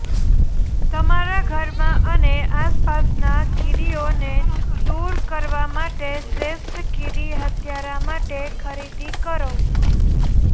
તમારા ઘરમાં અને આસપાસના કીડીઓને દૂર કરવા માટે શ્રેષ્ઠ કીડી હત્યારા માટે ખરીદી કરો